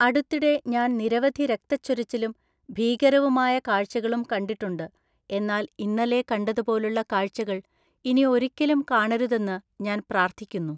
അടുത്തിടെ ഞാൻ നിരവധി രക്തച്ചൊരിച്ചിലും ഭീകരവുമായ കാഴ്ചകളും കണ്ടിട്ടുണ്ട്, എന്നാൽ ഇന്നലെ കണ്ടതുപോലുള്ള കാഴ്ചകൾ ഇനി ഒരിക്കലും കാണരുതെന്ന് ഞാൻ പ്രാർത്ഥിക്കുന്നു.